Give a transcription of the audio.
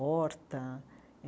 Horta.